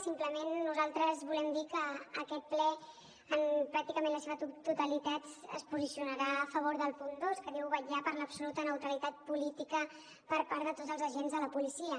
simplement nosaltres volem dir que aquest ple pràcticament la seva totalitat es posicionarà a favor del punt dos que diu vetllar per l’absoluta neutralitat política per part de tots els agents de la policia